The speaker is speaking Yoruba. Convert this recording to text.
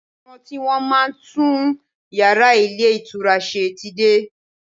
Àwọn tí Wọ́n máa ń tún yàrá ilé ìtura ṣe ti dé.